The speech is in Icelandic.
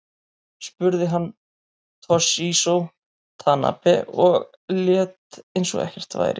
Spruði hann Toshizo Tanabe og lét eins og ekkert væri.